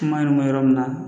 Kuma in mɛn yɔrɔ min na